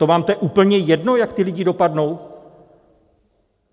To vám to je úplně jedno, jak ti lidé dopadnou?